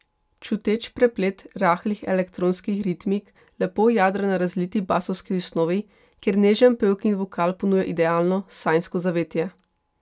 Čuteč preplet rahlih elektronskih ritmik lepo jadra na razliti basovski osnovi, kjer nežen pevkin vokal ponuja idealno, sanjsko zavetje.